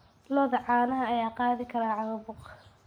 Lo'da caanaha ayaa qaadi kara caabuq.